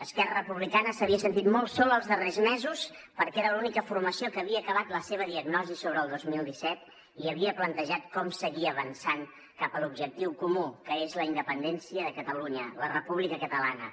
esquerra republicana s’havia sentit molt sola els darrers mesos perquè era l’única formació que havia acabat la seva diagnosi sobre el dos mil disset i havia plantejat com seguir avançant cap a l’objectiu comú que és la independència de catalunya la república catalana